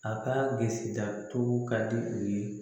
A ka bilisi datugu ka di u ye